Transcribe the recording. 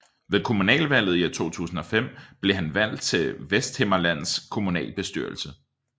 Ved kommunalvalget i 2005 blev han valgt til Vesthimmerlands Kommunalbestyrelse